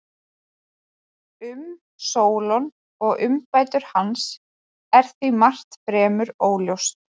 Um Sólon og umbætur hans er því margt fremur óljóst.